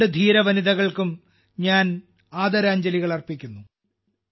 ഈ രണ്ട് ധീര വനിതകൾക്കും ഞാൻ ആദരാഞ്ജലികൾ അർപ്പിക്കുന്നു